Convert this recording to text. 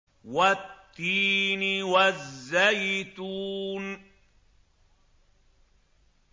وَالتِّينِ وَالزَّيْتُونِ